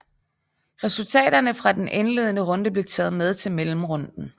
Resultaterne fra den indledende runde blev taget med til mellemrunden